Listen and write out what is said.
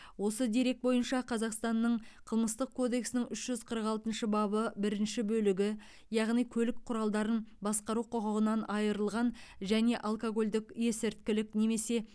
осы дерек бойынша қазақстанның қылмыстық кодексінің үш жүз қырық алтыншы бабы бірінші бөлігі яғни көлік құралдарын басқару құқығынан айырылған және алкогольдік есірткілік немесе